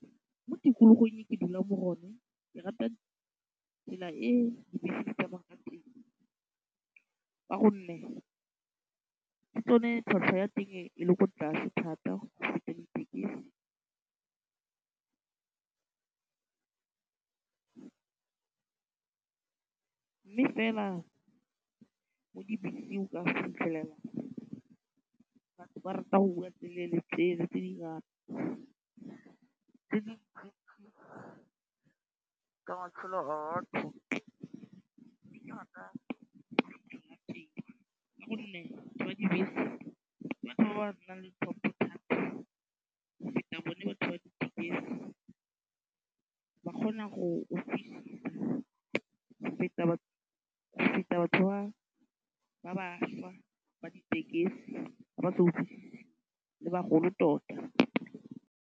Mo tikologong e ke dulang mo go yona ke rata tsela e dibese di tsamaya ka teng ka gonne ke tsone tlhwatlhwa ya teng e le ko tlase thata go feta di tekise mme fela mo dibeseng o ka fitlhelela batho ba rata go bua tsele le tsele ka matshelo a batho ka gonne batho ba dibese ke batho ba ba nang le tlhompho go feta bone batho ba dibese ba kgona go utlwisisa go feta batho go feta batho ba ba bašwa ba ditekesi le bagolo tota.